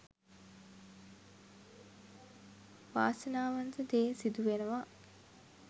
වාසනාවන්ත දේ සිදු වෙනවා.